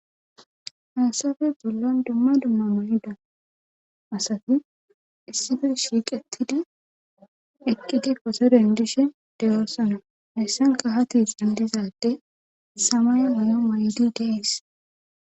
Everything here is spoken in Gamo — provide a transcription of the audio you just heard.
Haysape bollan dumma dumma mayida asati issipe shiiqettidi eqidi quxuren dishin de7oosona haysankka ha tesan diza ade samaye mayo mayidi de7ees.